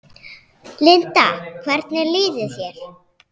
Linda: Hvernig líður þér?